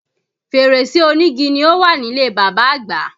Fèrèsé onígi ni ó wà nílé bàbá agba